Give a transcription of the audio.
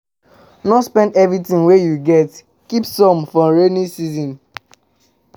No spend everything wey you get, keep some for rainy days